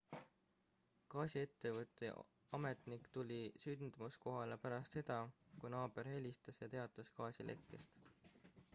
gaasiettevõtte ametnik tuli sündmuskohale pärast seda kui naaber helistas ja teatas gaasilekkest